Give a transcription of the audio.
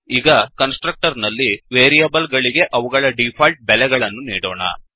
ಈಗ constructor ನಲ್ಲಿ variable ಗಳಿಗೆ ಅವುಗಳ ಡಿಫಾಲ್ಟ್ ಬೆಲೆಗಳನ್ನು ನೀಡೋಣ